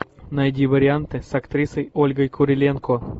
найди варианты с актрисой ольгой куриленко